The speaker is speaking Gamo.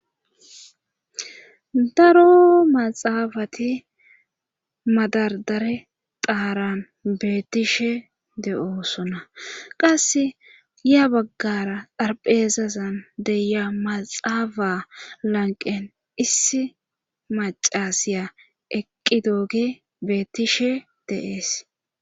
daro maxaafati madardare xaaran beettishe de7oosona qasse ya baggara xarphezazan deya maxaafa lanqen issi macasiya eqqi dooge beettishe de'es